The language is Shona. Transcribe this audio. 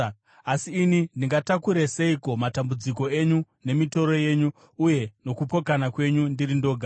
Asi ini ndingatakure seiko matambudziko enyu nemitoro yenyu uye nokupokana kwenyu ndiri ndoga?